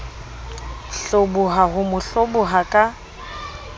hloboha ho mo hloboha ka